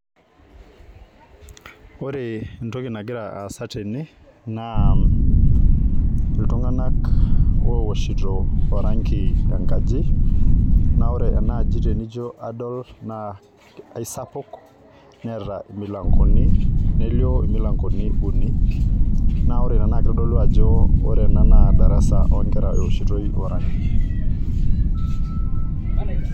Ore entoki nagira aasa tene naa iltunganak owoshito oranki enkaji naa ore enaji tenijo adol naa eisapuk neeta imilankoni , nelio imilankoni uni naa ore ina naa kitodolu ajo ore ena naa darasa onkera eoshitoi oranki.